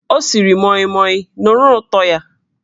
Ọ siri moimoi, nụrụ ụtọ ya!